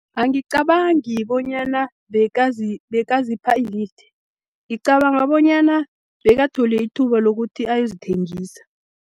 Angicabangi bonyana bekazipha ilifti, ngicabanga bonyana bekathole ithuba lokuthi ayozithengisa.